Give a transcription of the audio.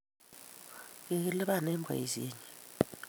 Kikilipan eng' Boishenyin